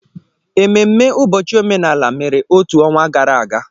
Ememme ụbọchị omenala mere otu ọnwa gara aga.